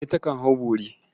Kande takan hau bori.